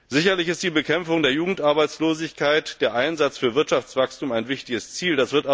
Sicherlich sind die Bekämpfung der Jugendarbeitslosigkeit und der Einsatz für Wirtschaftswachstum wichtige Ziele.